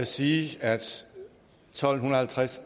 sige at tolv halvtreds